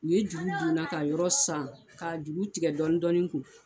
U ye juru don n na ka yɔrɔ san k'a jugu tigɛ dɔɔnin dɔɔnin n kun